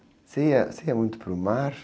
Você ia, você ia muito para o mar?